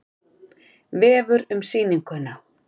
Vefur um sýninguna